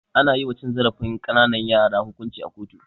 Ana yiwa cin zarafin ƙananan yara hukunci a kotu.